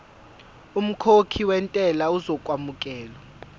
umkhokhi wentela uzokwamukelwa